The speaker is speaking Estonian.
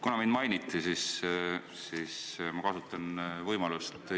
Kuna mind mainiti, siis ma kasutan võimalust ...